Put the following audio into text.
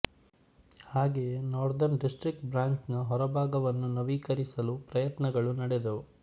ಹಾಗೆಯೇ northern district branch ನ ಹೊರಭಾಗವನ್ನು ನವೀಕರಿಸಲು ಪ್ರಯತ್ನಗಳು ನಡೆದವು